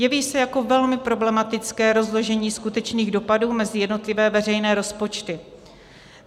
Jeví se jako velmi problematické rozložení skutečných dopadů mezi jednotlivé veřejné rozpočty.